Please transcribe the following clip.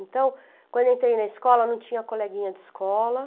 Então, quando eu entrei na escola, não tinha coleguinha de escola.